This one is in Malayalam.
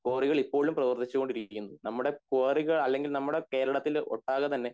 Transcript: കോറികൾ ഇപ്പോഴും പ്രവർത്തിച്ചുകൊണ്ട് ഇരിക്കുന്നു നമ്മട കോറികൾ അല്ലെങ്കിൽ നമ്മടെ കേരളത്തിലു ഒട്ടാകെ തന്നെ